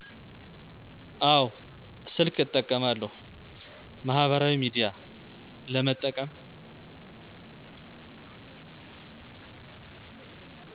አወ ስልክ እጠቀማለሁ ማህበራዊ ሚዲያ ለመጠቀም